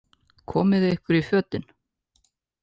Komiði ykkur í fötin.